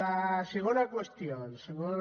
la segona qüestió el segon